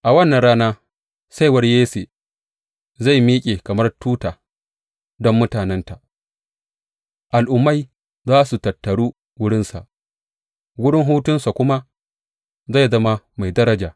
A wannan rana Saiwar Yesse zai miƙe kamar tuta don mutanenta; al’ummai za su tattaru wurinsa, wurin hutunsa kuma zai zama mai daraja.